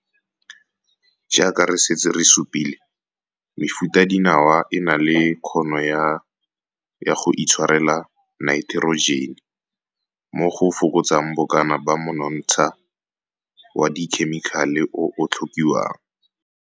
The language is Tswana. Jaaka re setse re supile, mefutadinawa e na le kgono ya go itshwarela naiterojene N, mo go fokotsang bokana ba monontsha wa dikhemikale o o tlhokiwang.